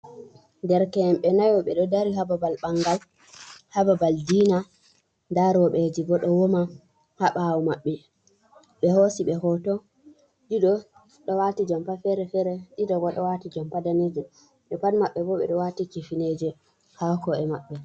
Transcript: Derke en ɓe naayo ɓe do dari ha babal ɓangal, ha babal diina da roube ji bo do wawma ha ɓawo maɓɓe be hosiɓe hoto ɗido do waati jumpa fere fere, ɗido bo do waati jumpa daneejum be pat maɓɓa bo ɓe waati kifneje ha ko' e maɓɓe.